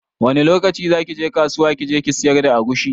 Wani lokaci zaki je kasuwa kije kisiyar da agushi